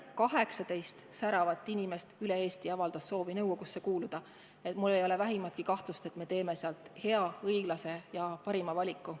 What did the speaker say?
18 säravat inimest üle Eesti avaldas soovi nõukogusse kuuluda, nii et mul ei ole vähimatki kahtlust, et me teeme seal hea, õiglase ja parima valiku.